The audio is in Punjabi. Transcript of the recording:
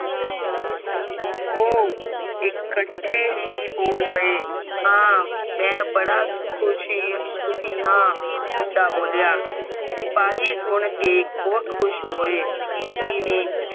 ਓ ਇਕੱਠੇ ਹੀ ਬੋਲ ਪਏ ਹਾਂ ਮੈਂ ਬੜਾ ਖੁਸ਼ੀ ਸੁਖੀ ਹਾ ਇੰਦਾ ਬੋਲਿਆ ਸਿਪਾਹੀ ਸੁਨ ਕੇ ਬਹੁਤ ਖੁਸ਼ ਹੋਏ ਜਿਵੇਂ